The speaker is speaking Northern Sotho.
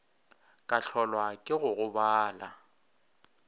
ka hlolwa ke go gobala